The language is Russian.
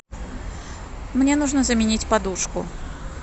мне нужно заменить подушку